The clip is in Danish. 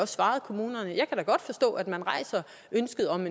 svaret kommunerne at man rejser ønsket om